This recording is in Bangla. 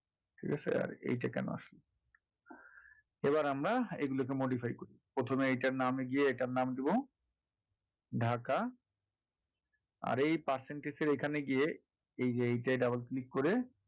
এইটা কেন আসে এবার আমরা এইগুলো কে modify করবো, প্রথমে এটার নামে গিয়ে এটা কে নাম দেবো ঢাকা আর এই percentage এর এখানে গিয়ে এইযে এইটায় double click করে